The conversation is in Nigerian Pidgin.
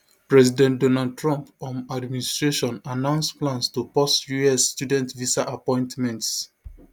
president donald trump um administration announce plans to pause us student visa appointments